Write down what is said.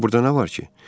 Axı burda nə var ki?